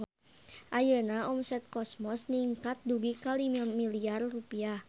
Ayeuna omset Cosmos ningkat dugi ka 5 miliar rupiah